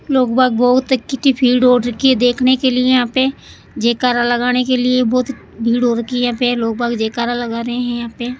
लोग बाग बहुत की भीड़ इकट्ठी हो रखी है देखने के लिए यहां पे जयकारा लगाने के लिए बहुत भीड़ हो रखी है जयकारा लगा रहे हैं यहां पे।